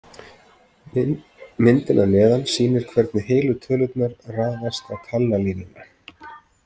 Myndin að neðan sýnir hvernig heilu tölurnar raðast á talnalínuna.